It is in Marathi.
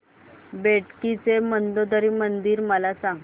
बेटकी चे मंदोदरी मंदिर मला सांग